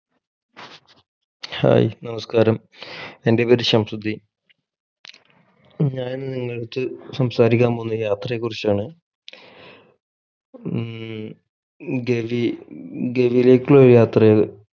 Hai നമസ്ക്കാരം എൻ്റെ പേര് ശംസുദ്ധീൻ ഞാൻ നിങ്ങളെടുത് സംസാരിക്കാൻ പോകുന്നത് യാത്രയെ കുറിച്ചാണ് ഉം ഗവി ഗവിലേക്കുള്ളൊരു യാത്രയാണ്